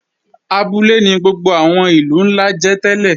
Abúlé ni gbogbo àwọn ìlú ńlá jẹ́ tẹ́lẹ̀